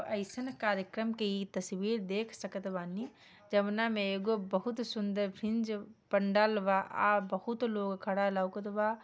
एसन कार्यक्रम के इ तस्वीर देख सकतवानी जउना मे एगो बोहोत सुंदर फिंज पंडाल बा आ बोहोत लोग खड़ा लोकत बा।